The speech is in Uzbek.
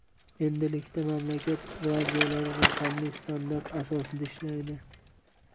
Endilikda mamlakat radiolari raqamli standart asosida ishlaydi.